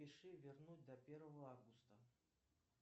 пиши вернуть до первого августа